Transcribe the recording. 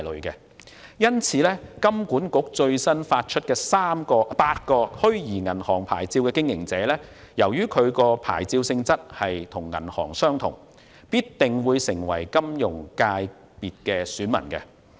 因此，香港金融管理局最新發出的8個虛擬銀行牌照的經營者，由於其牌照性質與銀行相同，定會成為金融界別的選民。